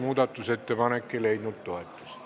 Muudatusettepanek ei leidnud toetust.